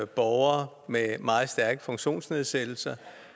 borgere med meget stærke funktionsnedsættelser